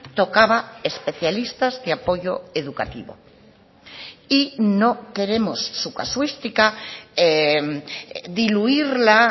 tocaba especialistas de apoyo educativo y no queremos su casuística diluirla